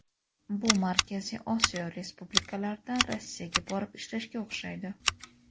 Bu Markaziy Osiyo respublikalaridan Rossiyaga borib ishlashga o‘xshaydi.